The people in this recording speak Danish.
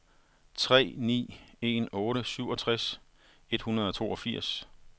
tre ni en otte syvogtres et hundrede og toogfirs